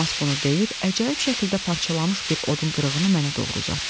Romas bunu deyib əcaib şəkildə parçalanmış bir odun qırığını mənə doğru uzatdı.